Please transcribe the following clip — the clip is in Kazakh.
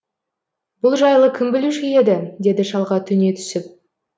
бұл жайлы кім білуші еді деді шалға төне түсіп